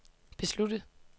besluttet